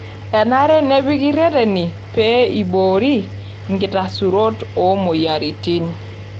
Enare nepiki reteni pee eiboori enkitarasaroto oo moyiaritin.